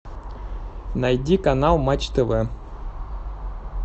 найди канал матч тв